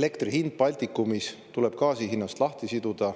"Elektri hind Baltikumis tuleb gaasi hinnast lahti siduda